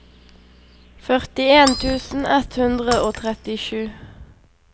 førtien tusen ett hundre og trettisju